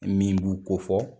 Min b'u ko fɔ